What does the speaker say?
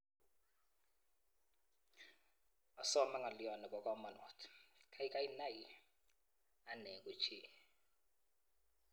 Asoome ng'alio ne bo kamanuut, kaikai nai ane ko chi.